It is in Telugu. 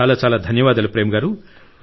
చాలా చాలా ధన్యవాదాలు ప్రేమ్ గారు